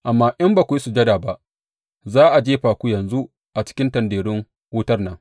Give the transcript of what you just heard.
Amma in ba ku yi sujada ba, za a je fa ku yanzu a cikin tanderun wutar nan.